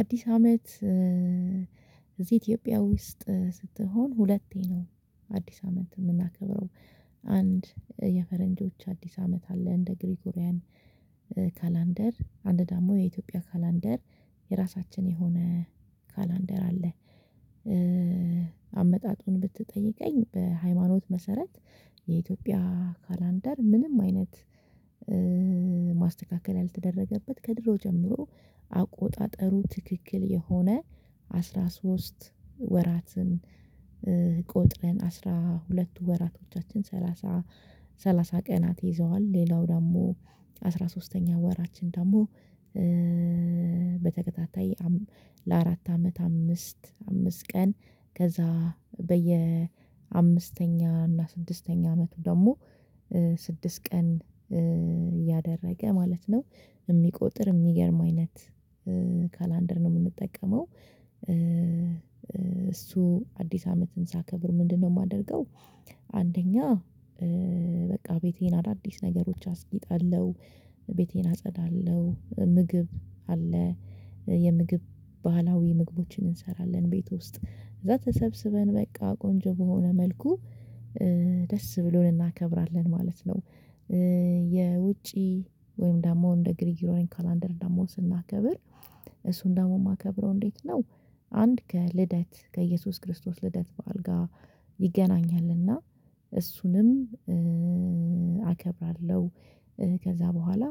አዲስ አመት እዚህ ኢትዮጵያ ውስጥ ስትሆን ሁለቴ ነው አዲስ አመት የምናከብረው አንድ የፈረንጆች አዲስ አመት አለ እንደ ግሪጎሪያን ካላንደር አንድ ደግሞ የኢትዮጵያ ካላንደር የራሳችን የሆነ ካላንደር አለ። አመጣጡን ብትጠይቀኝ በሃይማኖት መሰረት የኢትዮጵያ ካላንደር ምንም አይነት ማስተካከል ያልተደረገበት ከድሮ ጀምሮ አቆጣጠሩ ትክክል የሆነ አስራ ሶስት ወራትን ቆጥረን አስራ ሁለቱ ወራቶቻችን ሰላሳ ሰላሳ ቀናት ይዘዋል ሌላው ደግሞ አስራ ሶስተኛ ወራችን ደግሞ በተከታታይ ለአራት አመት አምስት አምስት ቀን ከዛ በየ አምስተኛ እና ስድስተኛ አመቱ ደግሞ ስድስት ቀን እያደረገ ማለት ነው የሚቆጥር የሚቆጥር የሚገርም አይነት ካላንደር ነው የምንጠቀመው እሱ አዲስ አመትን ሳከብር ምንድነው? የማደርገው አንደኛ በቃ ቤቴን አዳዲስ ነገሮች አስጊጣለሁ ቤቴን አጸዳለሁ ምግብ አለ የምግብ ባህላዊ ምግቦችን እንሰራለን ቤት ውስጥ እዛ ተሰብስበን በቃ ቆንጆ በሆነ መልኩ ደስ ብሎን እናከብራለን ማለት ነው። የውጪ ወይም ደግሞ እንደ ግሪጎሪያን ካላንደር ደግሞ ስናከብር እሱን ደግሞ የማከብረው እንዴት ነው? አንድ ከልደት ከኢየሱስ ክርስቶስ ልደት በአልጋ ይገናኛልና እሱንም አከብራለሁ። ከዛ በኋላ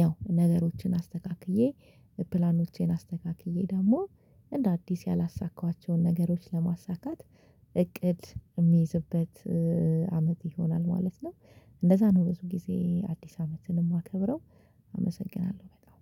ያው ነገሮችን አስተካክዬ ፕላኖቼን አስተካክዬ ደግሞ እንደ አዲስ ያላሳካኋቸውን ነገሮች ለማሳካት እቅድ የሚይዝበት አመት ይሆናል ማለት ነው። እንደዛ ነው ብዙ ጊዜ አዲስ አመትን የማከብረው አመሰግናለሁ በጣም